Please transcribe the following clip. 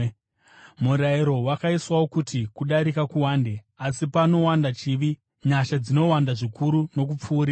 Murayiro wakaiswawo kuti kudarika kuwande. Asi panowanda chivi, nyasha dzinowanda zvikuru nokupfuurisa,